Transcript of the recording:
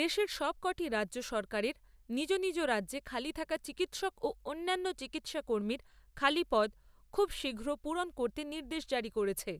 দেশের সবক'টি রাজ্য সরকারের নিজ নিজ রাজ্যে খালি থাকা চিকিৎসক ও অন্যান্য চিকিৎসাকর্মীর খালি পদ খুব শীঘ্র পূরণ করতে নির্দেশ জারি করেছে।